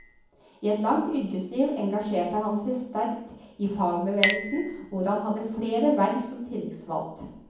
I et langt yrkesliv engasjerte han seg sterkt i fagbevegelsen, hvor han hadde flere verv som tillitsvalgt.